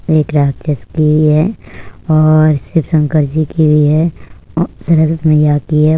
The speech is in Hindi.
एक राक्षस की भी है और शिव शंकर जी की भी है और सरस्वती मइया की है।